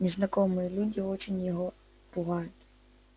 незнакомые люди очень его пугают